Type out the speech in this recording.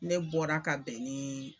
Ne bɔra ka bɛn ni